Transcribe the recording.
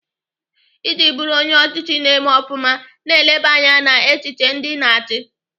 Iji bụrụ onye ọchịchị na-eme ofụma, na-eleba anya n'echiche ndị Ị na-achị.